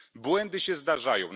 Błędy się zdarzają.